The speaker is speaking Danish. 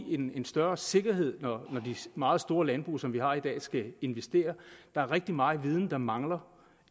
en større sikkerhed når de meget store landbrug som vi har i dag skal investere der er rigtig meget viden der mangler